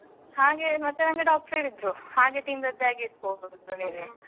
ಹಾಗೆ ಮತ್ತೆ ನಂಗೆ ಡಾಕ್ಟರ್ ಹೇಳಿದ್ರು ಹಾಗೆ ತಿಂದದ್ದಾಗಿರ್ಬೋದು. ನಿಂಗೆ